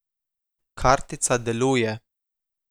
Kartica deluje.